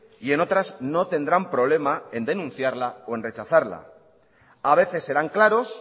y en otras no tendrán problema en denunciarla o en rechazarla a veces serán claros